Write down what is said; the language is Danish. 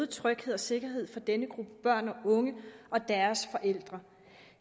tryghed og sikkerhed for denne gruppe børn og unge og deres forældre